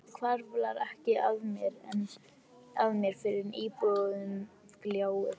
Það hvarflar ekki að mér fyrr en íbúðin gljáir.